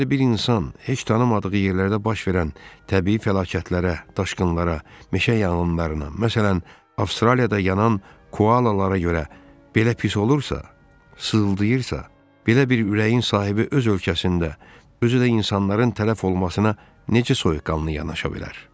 Əgər bir insan heç tanımadığı yerlərdə baş verən təbii fəlakətlərə, daşqınlara, meşə yanğınlarına, məsələn, Avstraliyada yanan koalalara görə belə pis olursa, sızıldayırsa, belə bir ürəyin sahibi öz ölkəsində, özü də insanların tələf olmasına necə soyuqqanlı yanaşa bilər?